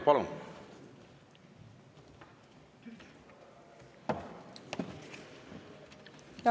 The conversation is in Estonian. Palun!